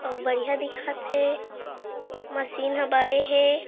अउ बढ़िया दिखत हे मशीन ह बड़े हे।